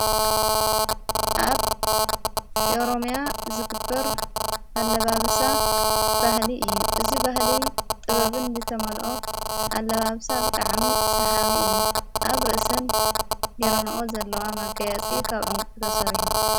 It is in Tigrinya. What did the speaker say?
ኣብ ኦሮምያ ዝግብር ኣለባብሳ ባህሊ እዩ እዙይ በህሊ ጥበብን ዘተመልኦ ኣለባብሳ ብጥዓሚ ሰሓዊ እዩ ኣብ ርእስን ጌሮንኦ ዘለዋ መገያፂ ኸብ ዑንቂ ዝተሰረሐ እዮ።